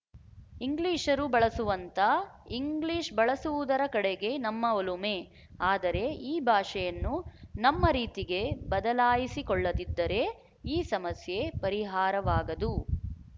ಇಂಗ್ಲಿಶರು ಬಳಸುವಂಥ ಇಂಗ್ಲಿಶ ಬಳಸುವುದರ ಕಡೆಗೆ ನಮ್ಮ ಒಲುಮೆ ಆದರೆ ಈ ಭಾಷೆಯನ್ನು ನಮ್ಮ ರೀತಿಗೆ ಬದಲಾಯಿಸಿಕೊಳ್ಳದಿದ್ದರೆ ಈ ಸಮಸ್ಯೆ ಪರಿಹಾರವಾಗದು